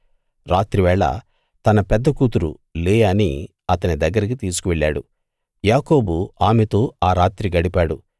రాత్రి వేళ తన పెద్ద కూతురు లేయాని అతని దగ్గరికి తీసుకు వెళ్ళాడు యాకోబు ఆమెతో ఆ రాత్రి గడిపాడు